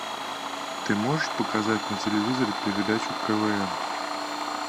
ты можешь показать на телевизоре передачу квн